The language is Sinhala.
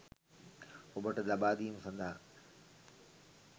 ඔබට ලබාදීම සදහා